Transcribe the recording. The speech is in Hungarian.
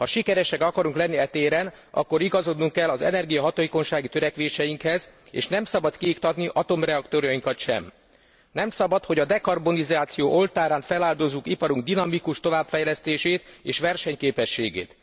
Ha sikeresek akarunk lenni e téren, akkor igazodnunk kell az energiahatékonysági törekvéseinkhez, és nem szabad kiiktatni atomreaktorainkat sem. Nem szabad, hogy a dekarbonizáció oltárán feláldozzuk iparunk dinamikus továbbfejlesztését és versenyképességét.